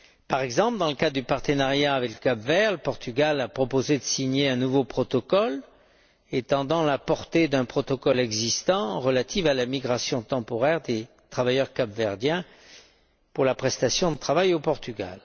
Par exemple, dans le cadre du partenariat avec le Cap vert, le Portugal a proposé de signer un nouveau protocole étendant la portée d'un protocole existant relatif à la migration temporaire des travailleurs capverdiens, pour la prestation de travail au Portugal.